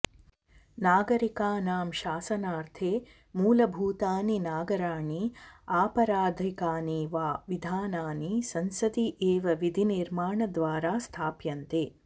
नागरिकानां शासनार्थे मूलभूतानि नागराणि आपराधिकानि वा विधानानि संसदि एव विधिनिर्माणद्वारा स्थाप्यन्ते